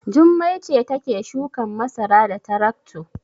Jummai ce take shukan masara da tarakto.